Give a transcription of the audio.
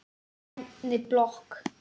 Í grænni blokk